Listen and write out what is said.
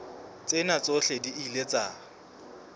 tsena tsohle di ile tsa